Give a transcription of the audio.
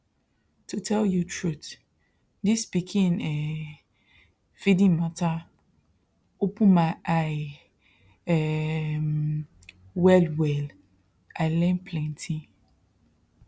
to tell you truth this pikin um feeding matter open my eye um wellwell i learn plenty